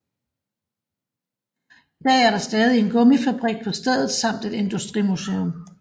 I dag er der stadig en gummifabrik på stedet samt et industrimuseum